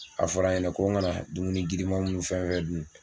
A fɔra n ɲɛna ko n ka na dumuni girima minnu fɛn fɛn dun